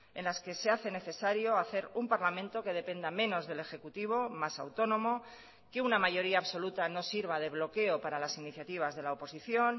en las que se hace necesario hacer un parlamento que dependa menos del ejecutivo más autónomo que una mayoría absoluta no sirva de bloqueo para las iniciativas de la oposición